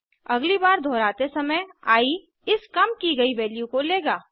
अगली बार दोहराते समय आई इस कम की गयी वैल्यू को लेगा